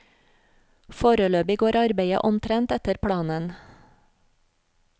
Foreløpig går arbeidet omtrent etter planen.